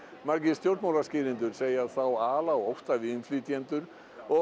stjórnmálaskýrendur segja þá ala á ótta við innflytjendur og